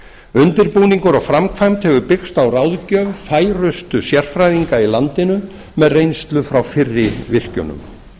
undirbúningur og framkvæmd hefur byggst á ráðgjöf færustu sérfræðinga í landinu með reynslu frá fyrri virkjunum